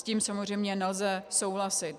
S tím samozřejmě nelze souhlasit.